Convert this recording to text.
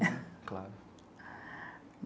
Claro.